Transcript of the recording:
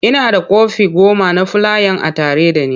Ina da kwafi goma na fulayan a tare da ni.